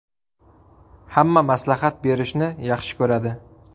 Hamma maslahat berishni yaxshi ko‘radi.